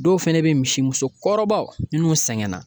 Dɔw fɛnɛ be misimuso kɔrɔbaw minnu sɛgɛnna